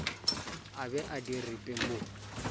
a be a diripe mo